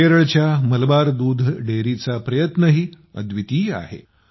केरळच्या मलबार दूध संघ डेअरीचा प्रयत्नही अद्वितीय आहे